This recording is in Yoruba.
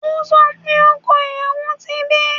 O sọ pé ọkọ ìyàwó ti dé